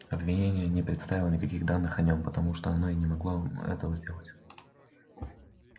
обвинение не представило никаких данных о нем потому что оно и не могло этого сделать